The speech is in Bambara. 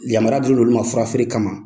Yamara dilen do olu ma fura feere kama